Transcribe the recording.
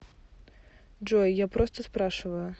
джой я просто спрашиваю